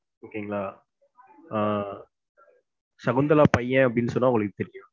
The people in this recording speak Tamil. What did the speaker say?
Okay ங்களா. ஆஹ் சகுந்தலா பையன் அப்டினு சொன்னா உங்களுக்கு தெரியும்.